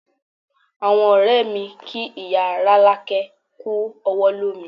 Àwọn ọ̀rẹ́ mi kí ìyá Rolake kú ọwọ́ lómi